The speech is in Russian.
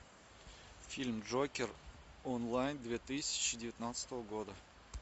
фильм джокер онлайн две тысячи девятнадцатого года